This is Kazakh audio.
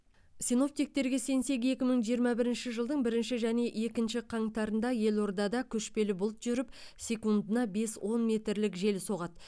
синоптиктерге сенсек екі мың жиырма бірінші жылдың бірінші және екінші қаңтарында елордада көшпелі бұлт жүріп секундына бес он метрлік жел соғады